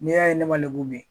N'i'a ye ne ma lebu bi.